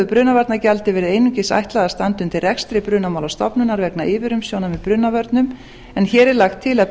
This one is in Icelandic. brunavarnagjaldi einungis verið ætlað að standa undir rekstri brunamálastofnunar vegna yfirumsjónar með brunavörnum en hér er lagt til að